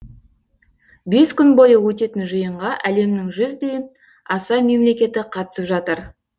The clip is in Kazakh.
бес күн бойы өтетін жиынға әлемнің жүзден аса мемлекеті қатысып жатыр